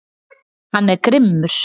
Hann er grimmur.